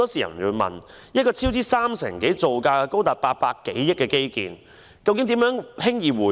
有人便會問，一個超支三成多、造價高達800多億元的基建工程，如何輕易回本？